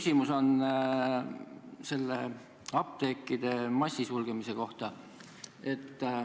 Minul on küsimus apteekide massisulgemise kohta.